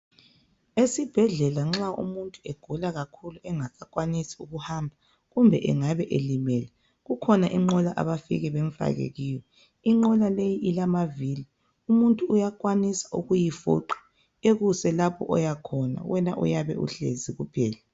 Esibhedlela nxa umuntu esegula kakhulu engasakwanisi ukuhamba kumbe angabe elimele kukhona inqola abafike bamfake kuyo inqola le ilamavili umuntu uyakwanisa ukuyifuqa akuse lapho oya khona wena uyabe uhlezi kuphela.